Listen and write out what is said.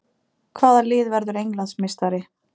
Hvaða lið verður Englandsmeistari?